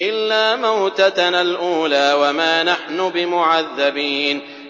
إِلَّا مَوْتَتَنَا الْأُولَىٰ وَمَا نَحْنُ بِمُعَذَّبِينَ